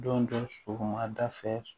Don dɔ sɔgɔmada fɛ